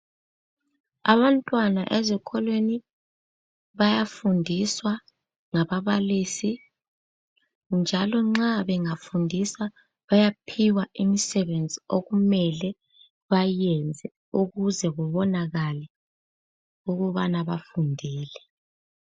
Abantwana ezikolweni bayafundiswa ngaBabalisi, njalo nxa bangafundiswa bayaphiwa imisebenzi okumele bayenze ukuze kubonakale ukubana bafundile.